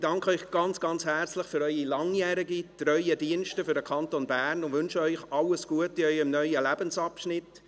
Ich danke Ihnen ganz herzlich für Ihren langjährigen, treuen Dienst für den Kanton Bern und wünsche Ihnen alles Gute in Ihrem neuen Lebensabschnitt.